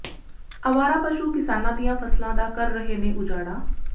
ਆਵਾਰਾ ਪਸ਼ੂ ਕਿਸਾਨਾਂ ਦੀਆਂ ਫਸਲਾਂ ਦਾ ਕਰ ਰਹੇ ਨੇ ਉਜਾੜਾ